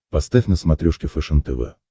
поставь на смотрешке фэшен тв